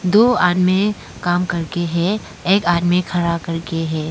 दो आदमी काम करके हैं एक आदमी खड़ा करके है।